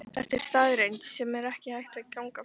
Þetta er staðreynd, sem ekki er hægt að ganga framhjá.